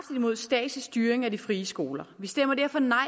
imod statslig styring af de frie skoler vi stemmer derfor nej